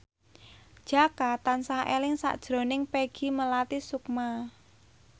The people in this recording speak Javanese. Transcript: Jaka tansah eling sakjroning Peggy Melati Sukma